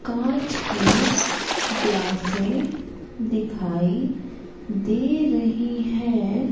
कांच की ग्लासे दिखाई दे रही हैं।